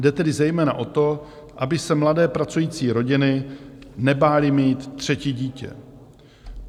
Jde tedy zejména o to, aby se mladé pracující rodiny nebály mít třetí dítě.